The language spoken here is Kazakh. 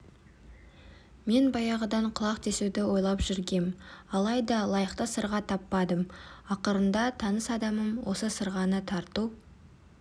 мен баяғыдан құлақ тесуді ойлап жүргем алайда лайықты сырға таппадым ақырында таныс адамдарым осы сырғаны тарту